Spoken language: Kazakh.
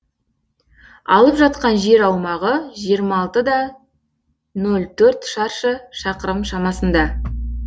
алып жатқан жер аумағы жиырма алты да нөл төрт шаршы шақырым шамасында